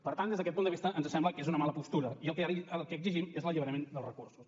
per tant des d’aquest punt de vista ens sembla que és una mala postura i el que exigim és l’alliberament dels recursos